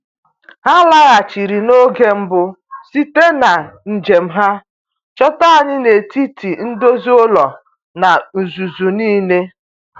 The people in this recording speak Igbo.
Ha laghachiri n’oge mbụ site na njem ha, chọta anyị n’etiti ndozi ụlọ na uzuzu niile.